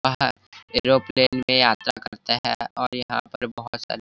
और एरोप्लेन में यात्राएं करता है और यहाँ पे बहोत सारे--